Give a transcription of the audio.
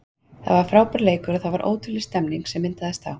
Það var frábær leikur og það var ótrúleg stemning sem myndaðist þá.